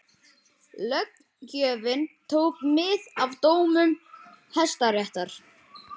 Löggjöfin tók mið af dómum Hæstaréttar